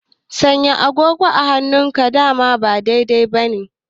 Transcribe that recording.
Sanya agogo a hannun dama ba daidai bane